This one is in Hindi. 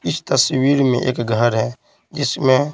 इस तस्वीर में एक घर है जिसमें--